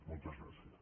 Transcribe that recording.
moltes gràcies